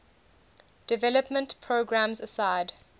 development programs aside